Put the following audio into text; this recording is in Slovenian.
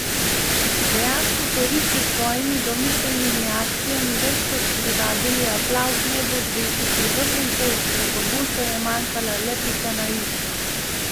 Dejansko so risi s svojimi domiselnimi akcijami večkrat privabili aplavz najbolj zvestih privržencev, prepogosto je manjkala le pika na i.